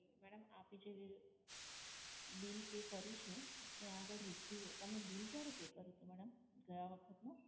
Madam આપે જે bill pay કર્યું છે એ આગળ રિસીવ, તમે bill ક્યારે pay કર્યું હતું madam ગયા વખત નું?